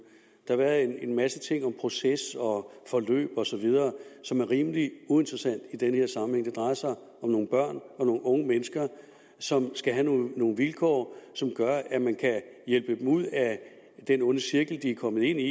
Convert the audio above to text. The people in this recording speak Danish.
der har været en masse ting om proces og forløb osv som er rimelig uinteressante i denne sammenhæng det drejer sig om nogle børn og nogle unge mennesker som skal have nogle nogle vilkår som gør at man kan hjælpe dem ud af den onde cirkel de er kommet ind i